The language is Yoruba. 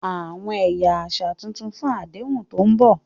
Àwọn ẹ̀yà àṣà tuntun fún àdéhùn tó ń bọ̀.